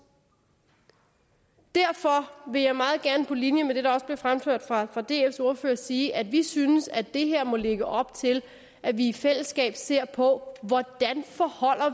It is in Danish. derfor vil jeg meget gerne på linje med det der også blev fremført fra dfs ordfører sige at vi synes at det her må lægge op til at vi i fællesskab ser på hvordan